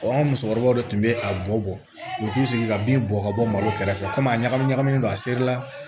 an ka musokɔrɔbaw de tun bɛ a bɔ u t'u sigi ka bin bɔn ka bɔ malo kɛrɛfɛ kom'a ɲagami ɲagami don a seri la